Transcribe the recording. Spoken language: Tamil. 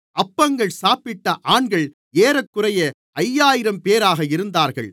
அப்பங்கள் சாப்பிட்ட ஆண்கள் ஏறக்குறைய ஐயாயிரம்பேராக இருந்தார்கள்